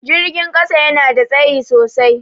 Jirgin ƙasa yana da tsayi sosai.